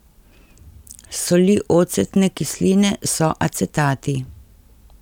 Soli ocetne kisline so acetati.